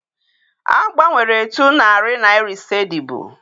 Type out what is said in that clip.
A gbanwere etu narị naịra ise dịbu.